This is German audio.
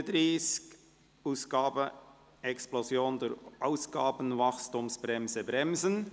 «Ausgabenexplosion durch Ausgabenwachstumsbremse bremsen».